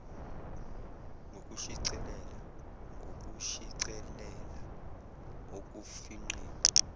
ngokushicilela ngokushicilela okufingqiwe